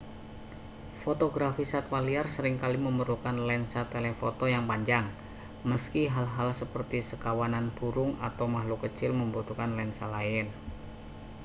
fotografi satwa liar sering kali memerlukan lensa telefoto yang panjang meski hal-hal seperti sekawanan burung atau makhluk kecil membutuhkan lensa lain